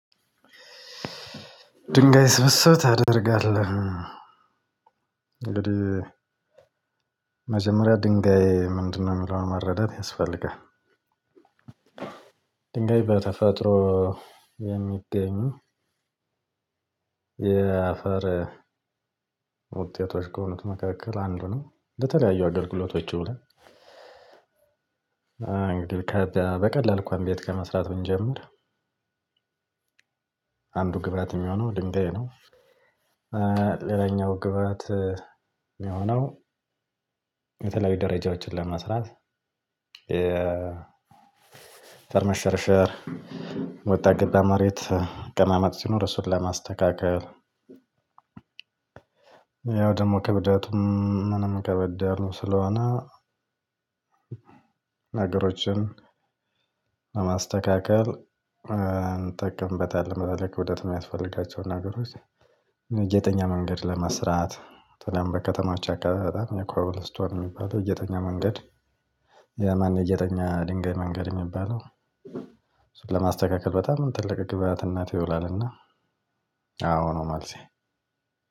ድንጋይ ስብስብ ታደርጋለህ እንግዲህ መጀመሪያ ድንጋይ ምንድነው የሚለውን መረዳት ያስፈልጋል። ድንጋይ በተፈጥሮ የሚገኝ የአፈር ውጤቶች ከሆኑት መካከል አንዱ ነው። በተለያዩ አገልግሎቶች ይውላል። እ እንግዲህ ከ በቀላል እንኳን ቤትት ከመስራት ብንጀምር አንዱ ግብአት የሚሆነው ድንጋይ ነው። እ ሌላኛው ግብአት ሚሆነው የተለያዩ ደረጃዎችን ለመስራት የ በመሸርሸር ወጣ ገባ መሬት አቀማመጥ ሲኖር እሱን ለማስተካከል። ያው ደግሞ ከብደቱም ምንም ከበደ ያሉ ስለሆነ ነገሮችን ለማስተካከል እ እንጠቀምበታለን። በተለይ ክብደት የሚያስፈልጋቸው ነገሮች የተኛ መንገድ ለመስራት በተለይም በከተሞች አካባቢ በጣም የኮብል ስቶን የሚባለው የጌጠኛ መንገድ። የማን የጌጠኛ ድንገይ መንገድ የሚባለው እሱን ለማ በጣም ትልቅ ግብአትነት ይውላልና። አዎ ነው መልሴ